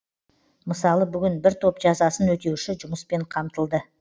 мысалы бүгін бір топ жазасын өтеуші жұмыспен қамтылды